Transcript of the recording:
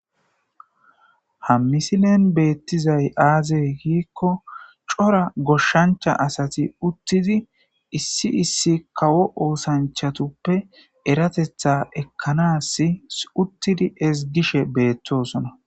ha misilen beettizay aaze giikko cora goshshancha asati uttidi issi issi kawo oosanchatuppe eratetha ekkanassi uttidi ezigishe beetosona